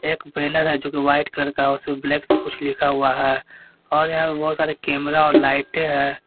एक बैनर है जो कि व्हाइट कलर का है उसमें ब्लैक से कुछ लिखा हुआ है और यहां पे बहोत सारे कैमरा और लाइटें है।